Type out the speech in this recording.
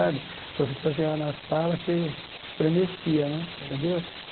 a professora chegava na sala, você estremecia né, entendeu?